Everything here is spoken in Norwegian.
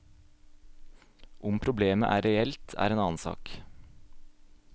Om problemet er reelt, er en annen sak.